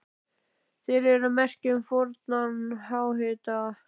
Þær eru merki um fornan háhita.